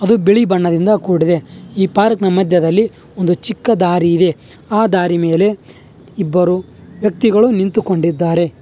ಇದು ಬಿಳಿ ಬಣ್ಣದಿಂದ ಕೂಡಿದೆ ಈ ಪಾರ್ಕ್ ಮಧ್ಯದಲ್ಲಿ ಒಂದು ಚಿಕ್ಕ ದಾರಿ ಇದೆ ಆ ದಾರಿ ಮೇಲೆ ಇಬ್ಬರು ವ್ಯಕ್ತಿಗಳು ನಿಂತುಕೊಂಡಿದ್ದಾರೆ.